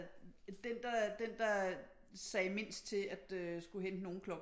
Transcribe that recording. Den der den der sagde mindst til at skulle hente nogen klokken